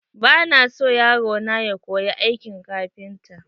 Ba na son yaro na ya koyi aikin kafinta.